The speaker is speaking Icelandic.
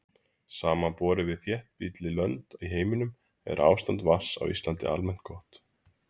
samanborið við þéttbýlli lönd í heiminum er ástand vatns á íslandi almennt gott